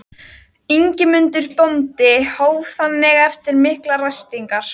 Ingimundur bóndi hóf þannig eftir miklar ræskingar